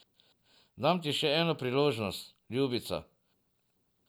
Dam ti še eno priložnost, ljubica.